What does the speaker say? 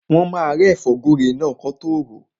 Wọ́n máa rẹ́ ẹ̀fọ́ gúre náà kí wọ́n tọ́ ròó.